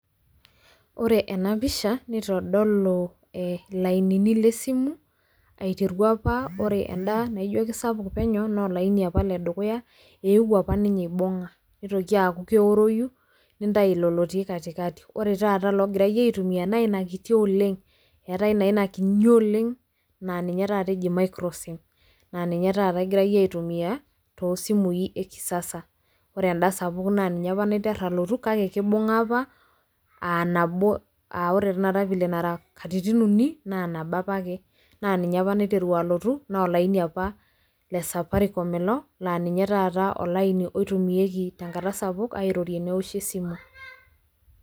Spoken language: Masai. oe ena pisha, nitodolu ilainiini le simu, aiteru apa ore eda naijo kisapuk penyo, naa olaini apa ledukuya, eewuo apa ninye eibung'a nitoki aaku keoroyu, nintayu ilo lotii katikati. ore taa ologirae aitumia naa ilo kiti oleng. eetae naa ina kinyi oleng' naa ninye taat eji microsim naa ninye taata egirae aitumia, too simui ekisasa, ore eda sapuk naa ninye apa niater alotu kake, kimbuga apa aa nabo, aa ore tenakata vile nara katitin uni, naa nabo apaek, naa ninye apa naiteru alotu naa olaini apa le Safaricom ninye apa olaini oitumiae te nkata sapuk airorie neoshi esimu.